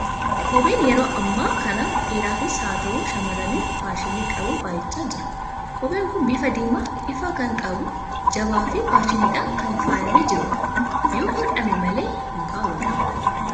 Kopheen yeroo ammaa kana dhiiraafis haa ta'u, shamarraniif faashinii qabu baay'achaa jira. Kopheen kun bifa diimaa ifaa kan qabu, jabaa fi faashiniidhaan kan faayamee jiru dha. Yoo hodhame malee hin kaawwatamu.